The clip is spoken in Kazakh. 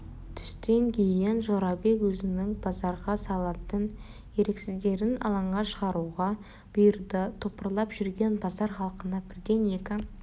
түстен кейін жорабек өзінің базарға салатын еріксіздерін алаңға шығаруға бұйырды топырлап жүрген базар халқына бірден екі